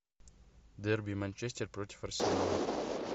дерби манчестер против арсенала